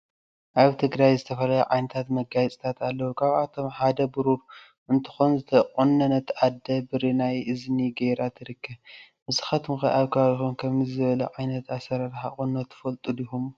አብ ትግራይ ዝተፈላለዩ ዓይነታት መጋየፅታት አለው ካብአቶም ሓደ ብሩሩ እንትኮን ዝተቆነነት አደ ብሪ ናይ እዝኒ ገይራ ትርከብ ንስካትኩም ከ አብ ከባቢኩም ከምዚ ዝበለ ዓይነት አሰራራሓ ቁኖ ትፈልጡ ዲኩም?